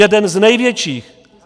Jeden z největších.